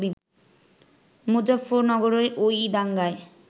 মুজাফফরনগরের ওই দাঙ্গায়